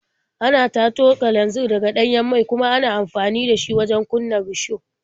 Ana tato kananzir daga ɗanyen mai kuma ana amfani da shi wajen kunna risho.